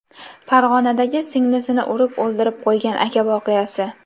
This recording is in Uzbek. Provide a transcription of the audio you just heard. Farg‘onadagi singlisini urib o‘ldirib qo‘ygan aka voqeasi.